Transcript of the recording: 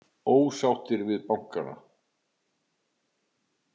Ósáttir við bankana